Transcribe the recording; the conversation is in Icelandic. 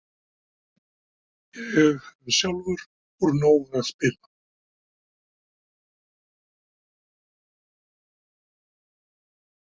Ég hef sjálfur úr nógu að spila.